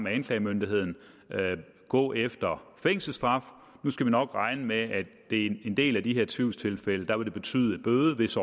anklagemyndigheden gå efter fængselsstraf nu skal vi nok regne med at det i en del af de her tvivlstilfælde vil betyde en bøde hvis